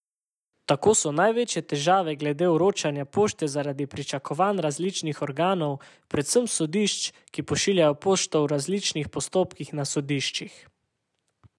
Tako so največje težave glede vročanja pošte zaradi pričakovanj različnih organov, predvsem sodišč, ki pošiljajo pošto v različnih postopkih na sodiščih.